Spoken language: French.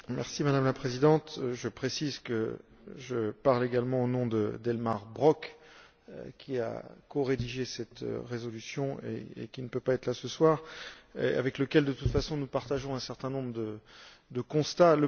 Madame la Présidente, je précise que je parle également au nom d'Elmar Brok, qui a corédigé cette résolution mais qui ne peut pas être là ce soir, et avec lequel, de toute façon, nous partageons un certain nombre de constats.